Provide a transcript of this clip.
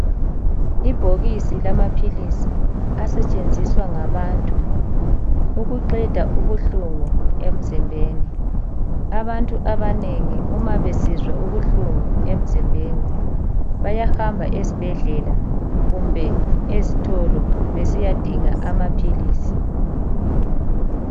Ibhokisi lamaphilisi asetshenziswa ngabantu ukuqeda ubuhlungu emzimbeni. Abantu abanengi uma besizwa ubuhlungu emzimbeni bayahamba ezibhedlela kumbe ezitolo besiyadinga amaphilisi.